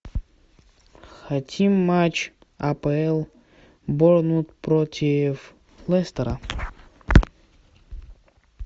хотим матч апл борнмут против лестера